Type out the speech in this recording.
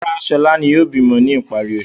Rárá, Ṣọlá yóò bímọ ní ìparí oṣù.